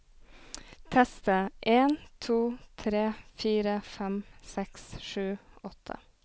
Tester en to tre fire fem seks sju åtte